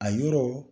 A yɔrɔ